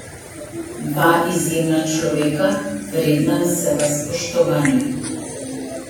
Dva izjemna človeka, vredna vsega spoštovanja.